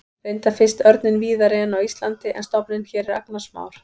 Reyndar finnst örninn víðari en á Íslandi en stofninn hér er agnarsmár.